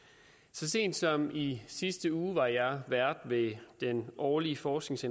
så sent som i sidste uge var jeg vært ved det årlige forsknings